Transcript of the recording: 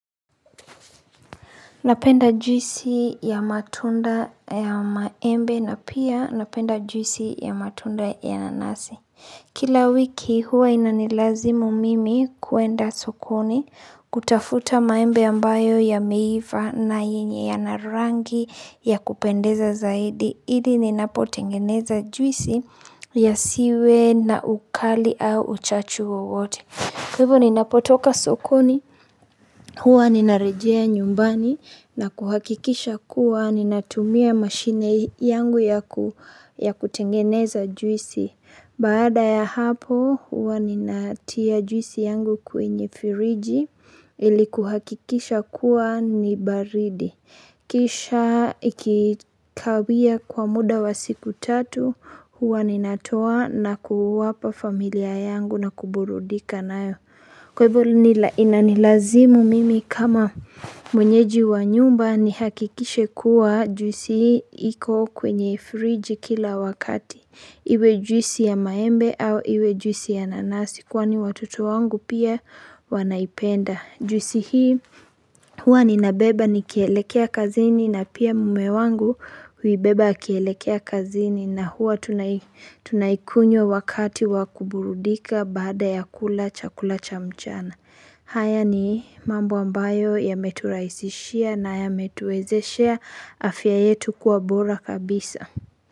Napenda juisi ya matunda ya maembe na pia napenda juisi ya matunda ya nanasi. Kila wiki huwa inanilazimu mimi kuenda sokoni kutafuta maembe ambayo yameiva na yenye yana rangi ya kupendeza zaidi. Idi ninapotengeneza juisi yasiwe na ukali au uchachu wowote. Kwaivo ninapotoka sokoni, huwa ninarejea nyumbani na kuhakikisha kuwa ninatumia mashine yangu ya kutengeneza juisi. Baada ya hapo huwa ninatia juisi yangu kwenye firiji ili kuhakikisha kuwa ni baridi. Kisha ikikawia kwa muda wa siku tatu huwa ninatoa na kuwapa familia yangu na kuburudika nayo Kwa hivyo inanilazimu mimi kama mwenyeji wa nyumba nihakikishe kuwa juisi iko kwenye friji kila wakati Iwe juisi ya maembe au iwe juisi ya nanasi kwani watoto wangu pia wanaipenda Juisi hii huwa ninabeba nikielekea kazini na pia mume wangu huibeba akielekea kazini na huwa tunaikunywa wakati wa kuburudika baada ya kula chakula cha mchana haya ni mambo ambayo yameturaisishia na yametuwezeshea afya yetu kuwa bora kabisa.